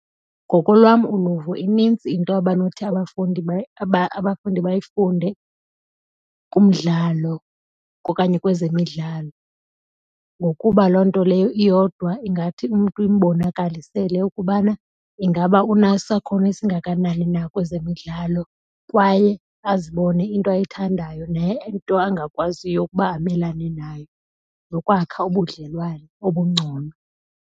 Ngokolwam uluvo inintsi into abanothi abafundi bayifunde kumdlalo okanye kwezemidlalo ngokuba loo nto leyo iyodwa ingathi umntu imbonakalisele ukubana ingaba unesakhono esingakanani na kwezemidlalo. Kwaye azibone into ayithandayo nento angakwaziyo ukuba amelane nayo nokwakha ubudlelwane obungcono.